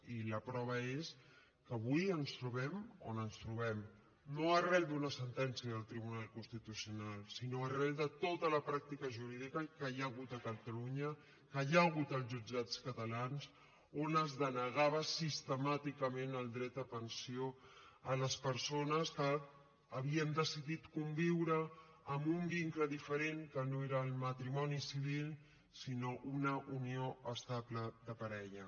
i la prova és que avui ens trobem on ens trobem no arran d’una sentència del tribunal constitucional sinó arran de tota la pràctica jurídica que hi ha hagut a catalunya que hi ha hagut als jutjats catalans on es denegava sistemàticament el dret a pensió a les persones que havien decidit conviure amb un vincle diferent que no era el matrimoni civil sinó una unió estable de parella